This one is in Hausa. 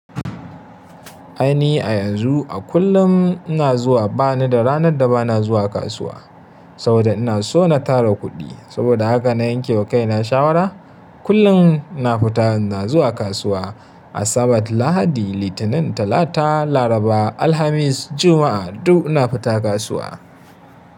Ai ni a yanzu a kullum ina zuwa ba ni da ranar da ba na zuwa kasuwa saboda ina so na tara kuɗi. Saboda haka na yanke wa kaina shawara. Kullum ina fita ina zuwa kasuwa a Sabat, Lahadi, Litinin, Talata, Laraba, Alhamis, Juma'a duk ina fita kasuwa.